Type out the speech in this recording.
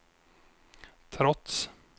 trots